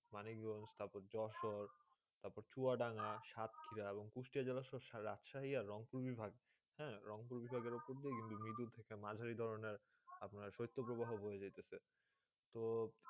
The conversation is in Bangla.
মানুষ জয়েশন ঠাকুর জোর সোর্ তার পরে চুয়াডাঙ্গা সাক্ষিরা এবং কুষ্টে জীবন রাখা হয়ে আর রওনক বিভাগ হেন্ রওনক ভেবাগ উপর দিয়ে মিরিদুল থেকে মাঝি ড্রোন আপনার হয়ে যেতেছে তো